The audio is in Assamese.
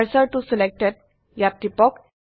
কাৰ্চৰ ত selectedত টিপক